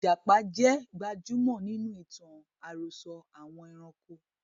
Ìjàpá jẹ́ gbajúmọ̀ nínú itan àròsọ̀ àwọn ẹranko